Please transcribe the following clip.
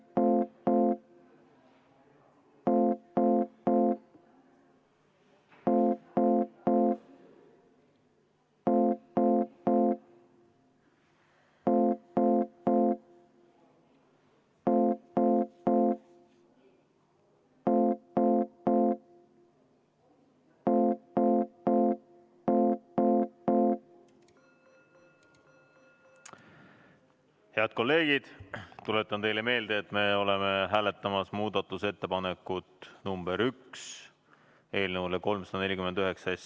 V a h e a e g Head kolleegid, tuletan teile meelde, et me oleme hääletamas muudatusettepanekut nr 1 eelnõu 349 kohta.